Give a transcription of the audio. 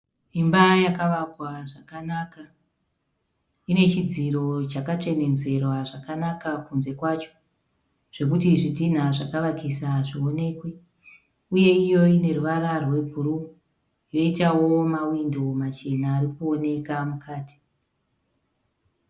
Imba yakavakwa zvakanaka. Ine chidziro chakatsvenenzverwa zvakanaka kunze kwacho. Zvekuti zvidhina zvakavakisa hazvionekwi , uye iyo ineruvara rwe bhuruu . Yoitawo mawindo machena arikuoneka mukati.